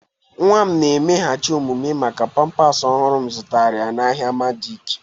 Nwa m na-emeghachi omume maka pampers ọhụrụ m zụtara n'ahịa madaci.